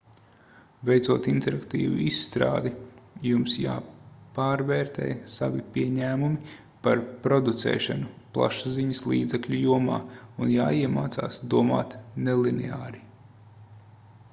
veicot interaktīvu izstrādi jums jāpārvērtē savi pieņēmumi par producēšanu plašsaziņas līdzekļu jomā un jāiemācās domāt nelineāri